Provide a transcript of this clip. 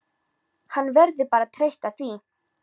Hann verður bara að treysta því.